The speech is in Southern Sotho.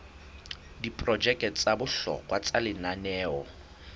diprojeke tsa bohlokwa tsa lenaneo